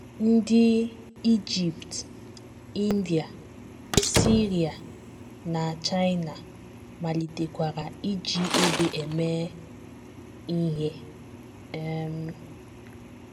Ndị Ijipt, India, Siria, na China malitekwara iji obe eme ihe. um